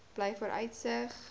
blyvooruitsig